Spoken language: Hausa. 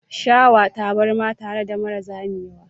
Shawa tabarma tare da mara zamewa.